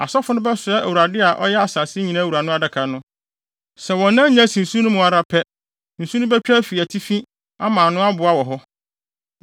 Asɔfo no bɛsoa Awurade a ɔyɛ asase nyinaa wura no Adaka no. Sɛ wɔn nan nya si asu no mu ara pɛ, nsu no betwa afi atifi ama ano aboa wɔ hɔ.”